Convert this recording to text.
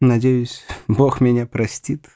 надеюсь бог меня простит